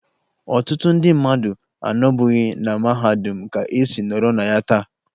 Ọtụtụ ndị mmadụ anọbughi na mahadum ka e si nọrọ na ya taa